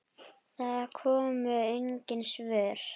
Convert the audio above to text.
Það komu engin svör.